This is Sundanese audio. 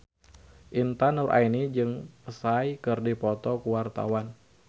Intan Nuraini jeung Psy keur dipoto ku wartawan